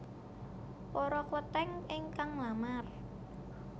Poro Kleténg éngkang nglamar